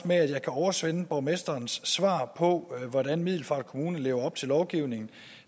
med at jeg kan oversende borgmesterens svar på hvordan middelfart kommune lever op til lovgivningen